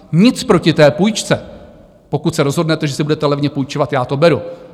Nic proti té půjčce, pokud se rozhodnete, že si budete levně půjčovat, já to beru.